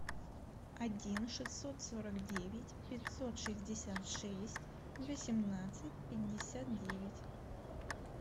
один шестьсот сорок девять пятьсот шестьдесят шесть восемнадцать пятьдесят девять